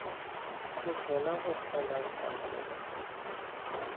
sehlola go hlola sa kgomo